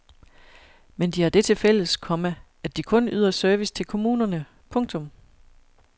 Men de har det til fælles, komma at de kun yder service til kommunerne. punktum